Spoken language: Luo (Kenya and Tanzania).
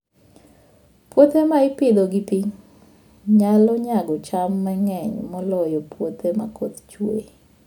Puothe ma ipidho gi pi, nyalo nyago cham mang'eny moloyo puothe ma koth chue.